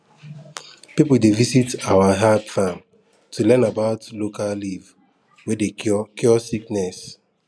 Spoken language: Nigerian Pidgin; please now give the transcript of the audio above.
people dey visit our herb farm to learn about local leaf wey dey cure cure sickness